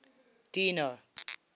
dino